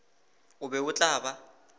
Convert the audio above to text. o be o tla ba